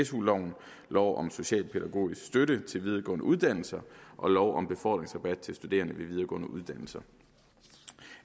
su loven lov om socialpædagogisk støtte til videregående uddannelser og lov om befordringsrabat til studerende ved videregående uddannelser